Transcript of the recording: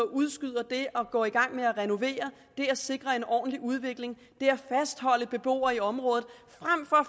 udskyder det at gå i gang med at renovere det at sikre en ordentlig udvikling der fastholder beboere i området